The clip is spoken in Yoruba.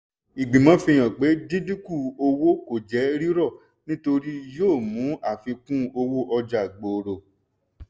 ìgbìmọ̀ fi hàn pé díndínkún owó kò jẹ́ rírò nítorí yóò mú àfikún-owó-ọjà gbòòrò.